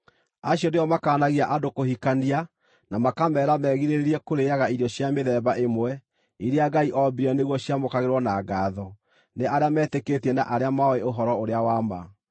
Acio nĩo makaanagia andũ kũhikania na makameera megirĩrĩrie kũrĩĩaga irio cia mĩthemba ĩmwe, iria Ngai oombire nĩguo ciamũkagĩrwo na ngaatho nĩ arĩa metĩkĩtie na arĩa moĩ ũhoro-ũrĩa-wa-ma.